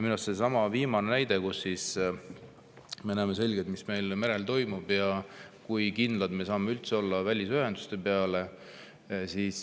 Minu arust sellestsamast viimasest näitest, kus me näeme selgelt, mis meil merel toimub, kui kindlad me saame üldse olla välisühenduste peale.